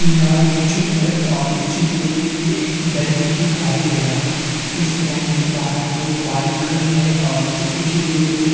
यह एक चित्र है और इस चित्र में एक बैंक दिखाई दे रहा है। इस बैंक के बाहर दो बाइक खड़ी हैं और उसे कुछी दूरी पे --